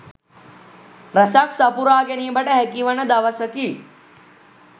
රැසක් සපුරා ගැනීමට හැකිවන දවසකි.